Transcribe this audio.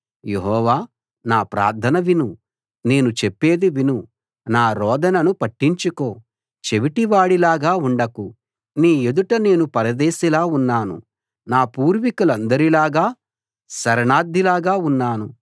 యెహోవా నా ప్రార్థన విను నేను చెప్పేది విను నా రోదనను పట్టించుకో చెవిటివాడిలాగా ఉండకు నీ ఎదుట నేను పరదేశిలా ఉన్నాను నా పూర్వీకులందరిలాగ శరణార్ధిలాగా ఉన్నాను